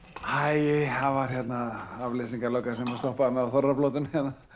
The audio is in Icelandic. æi það var hérna afleysingarlögga sem stoppaði mig á þorrablótinu